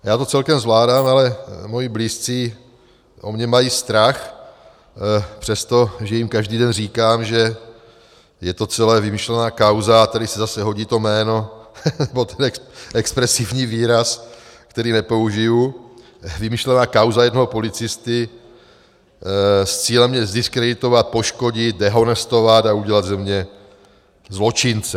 Já to celkem zvládám, ale moji blízcí o mě mají strach, přestože jim každý den říkám, že je to celé vymyšlená kauza - a tady se zase hodí to jméno, nebo ten expresivní výraz, který nepoužiji, vymyšlená kauza jednoho policisty s cílem mě zdiskreditovat, poškodit, dehonestovat a udělat ze mě zločince.